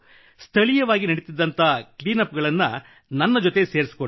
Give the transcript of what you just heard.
ಸ್ಥಳೀಯವಾಗಿ ನಡೆಯುತ್ತಿದ್ದ clean up ಗಳನ್ನು ನನ್ನ ಜೊತೆ ಸೇರಿಸಿಕೊಂಡೆ